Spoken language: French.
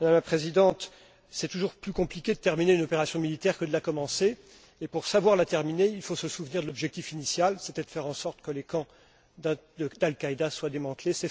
Madame la Présidente, il est toujours plus compliqué d'achever une opération militaire que de la commencer, et pour savoir l'achever, il faut se souvenir de l'objectif initial, qui était de faire en sorte que les camps d'Al Qaïda soient démantelés.